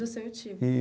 Do seu tio.